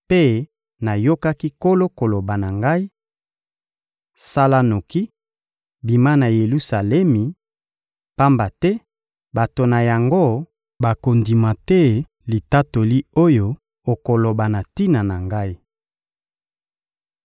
mpe nayokaki Nkolo koloba na ngai: «Sala noki, bima na Yelusalemi, pamba te bato na yango bakondima te litatoli oyo okoloba na tina na Ngai.»